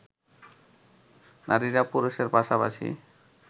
নারীরা পুরুষের পাশাপাশি